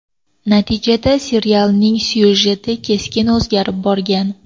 Natijada serialning syujeti keskin o‘zgarib ketgan.